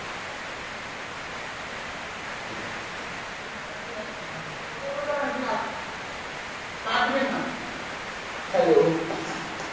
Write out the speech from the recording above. কথা বলতে হবে না তুমি রাখো। কাটবেনা hello?